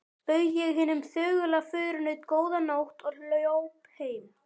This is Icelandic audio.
Bauð ég hinum þögula förunaut: Góða nótt og hljóp heim.